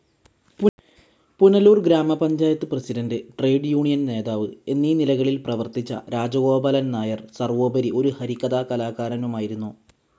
പുനലൂർ ഗ്രാമപഞ്ചായത്ത് president trade union നേതാവ് എന്നീ നിലകളിൽ പ്രവർത്തിച്ച രാജഗോപാലൻ നായർ സർവോപരി ഒരു ഹരികഥാ കലാകാരനുമായിരുന്നു.